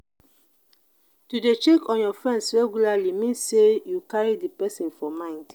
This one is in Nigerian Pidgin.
to de check on your friends regularly means say you carry the persin for mind